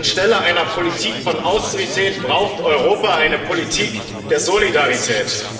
Denn anstelle einer Politik von Austerität braucht Europa eine Politik der Solidarität.